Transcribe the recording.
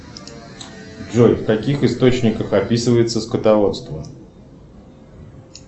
джой в каких источниках описывается скотоводство